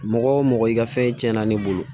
Mɔgɔ mɔgɔ i ka fɛn tiɲɛna ne bolo